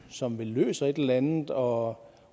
som vel løser et eller andet og